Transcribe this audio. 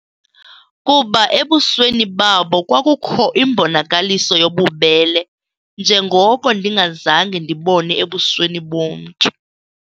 Kuba ebusweni babo kwakukho imbonakaliso yobubele njengoko ndingazange ndibone ebusweni bomntu.